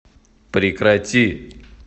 прекрати